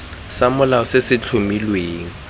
sa molao se se tlhomilweng